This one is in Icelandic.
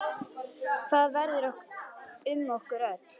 Hvað verður um okkur öll?